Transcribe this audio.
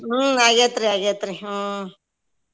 ಹ್ಮ್ ಆಗೇತ್ರಿ ಆಗೇತ್ರಿ ಹ್ಮ್.